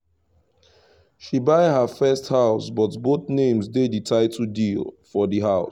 she buy their first house but both names dey the title deed for the house